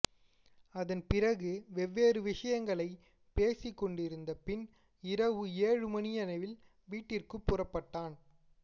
அதன் பிறகு வெவ்வேறு விஷயங்களைப் பேசிக் கொண்டிருந்த பின் இரவு ஏழு மணியளவில் வீட்டிற்குப் புறப்பட்டான்